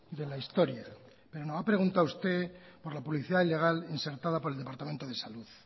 de la historia pero me ha preguntado usted por la publicidad ilegal insertada por el departamento de salud